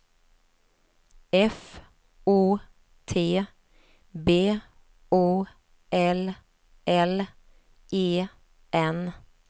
F O T B O L L E N